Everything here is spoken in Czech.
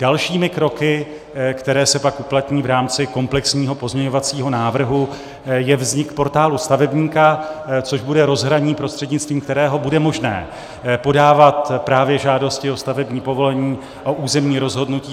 Dalšími kroky, které se pak uplatní v rámci komplexního pozměňovacího návrhu, je vznik Portálu stavebníka, což bude rozhraní, prostřednictvím kterého bude možné podávat právě žádosti o stavební povolení, o územní rozhodnutí.